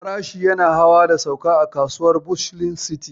Farashi yana hawa da sauka a kasuwar bustling city.